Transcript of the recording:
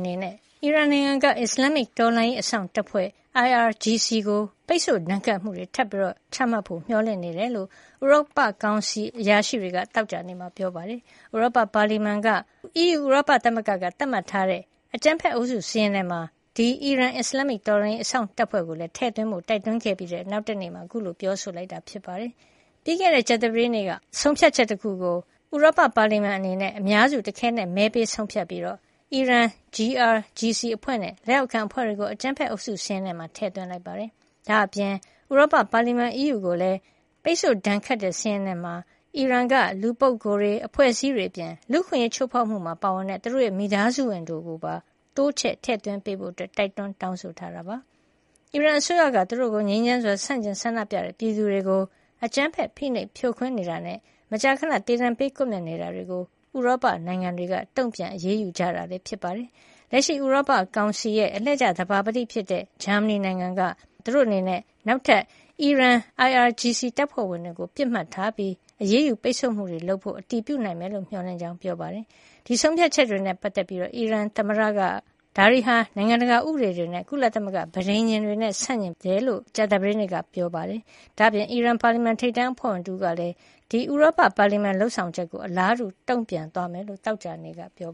နေနဲ့ အီရန်နိုင်ငံက အစ္စလမ္မစ် တော်လှန်ရေး အစောင့်တပ်ဖွဲ့ IRGC ကို ပိတ်ဆို့ဒဏ်ခတ်မှုတွေ ထပ်မံပြီးချမှတ်ဖို့ မျှော်လင့်နေတဲ့အကြောင်း ဥရောပ ကောင်စီ EC အရာရှိတွေက သောကြာနေ့က ပြောပါတယ်။ ဥရောပ ပါလီမန် EP က ဥရောပ သမဂ္ဂ EU သတ်မှတ်ထားတဲ့ အကြမ်းဖက်အုပ်စု စာရင်းထဲမှာ အဲဒီ အီရန် အစ္စလမ္မစ် တော်လှန်ရေး အစောင့်တပ်ဖွဲ့ IRGC ကိုလည်း ထဲ့သွင်းဖို့ တိုက်တွန်းခဲ့ပြီး နောက်တနေ့မှာပဲ ပြောဆိုလိုက်တာဖြစ်ပါတယ်။ ပြီးခဲ့တဲ့ ကြာသပတေးနေ့က အားလုံးလိုက်နာမှုမရှိလည်း ရတဲ့ဆုံဖြတ်ချက်တခုကို ဥရောပ ပါလီမန် EP အနေနဲ့ အများစု တခဲနက် မဲပေး ဆုံးဖြတ်ပြီး အီရန် GRGC အဖွဲ့ နဲ့ လက်အောက်ခံအဖွဲ့တွေကို အကြမ်းဖက်အုပ်စု စာရင်းမှာ ထဲ့သွင်းလိုက်ပါတယ်။ ဒါအပြင် ဥရောပ ပါလီမန် EU ကိုလည်း ပိတ်ဆို့ ဒဏ်ခတ်တဲ့ စာရင်းထဲမှာ အီရန်နိုင်ငံ က လူပုဂ္ဂိုလ်တွေ၊ အဖွဲ့အစည်းတွေ အပြင် လူအခွင့်အရေး ချိုးဖောက်မှု ပါဝင်ကြတဲ့ သူတို့ရဲ့မိသားစုဝင်တွေကိုပါ တိုးချဲ့ ထဲ့သွင်းပေးဖို့ တိုက်တွန်းလိုက်ပါတယ်။ အီရန်အစိုးရက သူတို့ကို ငြိမ်းချမ်းစွာ ဆန့်ကျင်ဆန္ဒပြနေကြတဲ့ ပြည်သူတွေကို အကြမ်းဖက် ဖိနိုပ်ဖြိုးခွင်းနေတာ နဲ့ မကြာခဏ သေဒဏ်ပေးကွပ်မြက်နေတာတွေကို ဥရောပနိုင်ငံတွေက တုံပြန်အရေးယူကြတာဖြစ်ပါတယ်။ လက်ရှိ ဥရောပ ကောင်စီ EC ရဲ့ အလှည့်ကျ သဘာပတိဖြစ်တဲ့ ဂျာမနီနိုင်ငံရဲ့ နိုင်ငံခြားရေးဌာန ပြောရေးဆိုခွင့်ရှိသူက သူတို့အနေနဲ့ နောက်ထပ် အီရန် IRGC တပ်ဖွဲ့ဝင်တွေကို ပစ်မှတ်ထားပြီး နောက်ထပ် အရေးယူ ပိတ်ဆို့မှုတွေ လုပ်ဆောင်ဖို့အတွက် အတည်ပြုနိုင်လိမ့်မယ်လို့ မျှော်လင့်ကြောင်း ပြောဆိုပါတယ်။ အဲဒီလို ဆုံးဖြတ်ချက်တွေနဲ့ ပတ်သက်ပြီး အီရန် သမ္မတ Ebrahim Raisi ကတော့ ဒါတွေဟာ နိုင်ငံတကာ ဥပဒေတွေ နဲ့ ကုလသမဂ္ဂ ပဋိညာဉ်နဲ့ ဆန့်ကျင်တယ်လို့ ပြီးခဲ့တဲ့ ကြာသပတေးနေ့က ပြောဆိုခဲ့ကြောင်း အီရန်နိုင်ငံပိုင် သတင်းဌာန IRNAမှာ ဖော်ပြလိုက်ပါတယ်။ ဒါအပြင် အီရန် ပါလီမန် ထိပ်တန်းအဖွဲ့ဝင်တဦးကလည်း ဥရောပ ပါလီမန် EP ရဲ့လုပ်ဆောင်ချက်ကို အလားတူတုံပြန်သွားမယ်လို့ သောကြာနေ့က ပြော